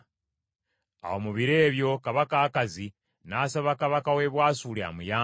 Awo mu biro ebyo kabaka Akazi n’asaba kabaka w’e Bwasuli amuyambe,